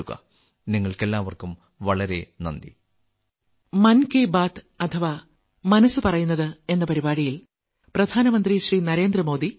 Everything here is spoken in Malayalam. നിങ്ങൾക്കെല്ലാവർക്കും വളരെ നന്ദി